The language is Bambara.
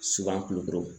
Sugan kulukɔrɔ